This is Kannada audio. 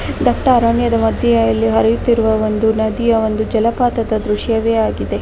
ದಟ್ಟ ಅರಣ್ಯದ ಮದ್ಯೆ ಇಲ್ಲಿ ಹರಿಯುತ್ತಿರುವ ಒಂದು ನದಿಯ ಒಂದು ಜಲಪಾತದ ದೃಶ್ಯವೇ ಆಗಿದೆ .